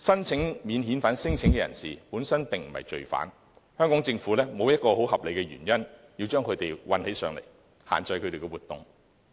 此外，免遣返聲請申請人本身不是罪犯，香港政府沒有合理理由把他們關起來，限制他們的活動。